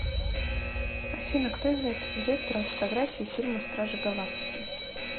афина кто является директором фотографии фильма стражи галактики